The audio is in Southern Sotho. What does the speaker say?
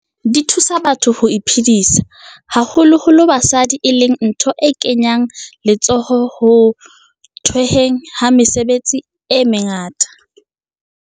Di thusa batho ho iphedisa, haholo holo basadi, e leng ntho e kenyang letsoho ho the hweng ha mesebetsi metseng e mengata.